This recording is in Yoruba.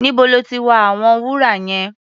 Níbo lọ́ ti wa àwọn wúrà yẹn?